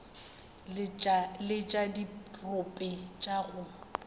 le tša dirope tša go